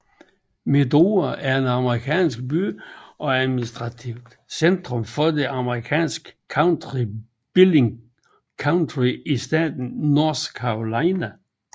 Medora er en amerikansk by og administrativt centrum for det amerikanske county Billings County i staten North Dakota